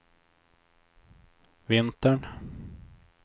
vintern